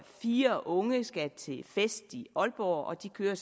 fire unge skal til fest i aalborg og de kører